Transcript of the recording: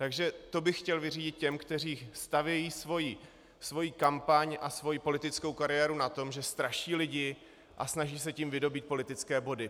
Takže to bych chtěl vyřídit těm, kteří stavějí svoji kampaň a svoji politickou kariéru na tom, že straší lidi, a snaží se tím vydobýt politické body.